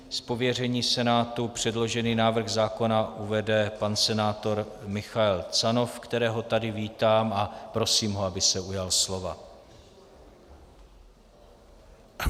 Z pověření Senátu předložený návrh zákona uvede pan senátor Michael Canov, kterého tady vítám a prosím ho, aby se ujal slova.